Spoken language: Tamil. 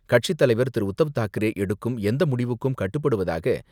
கட்சித்தலைவர் திரு.உத்தவ்தாக்கரே எடுக்கும் எந்த முடிவுக்கும் கட்டுப்படுவதாக,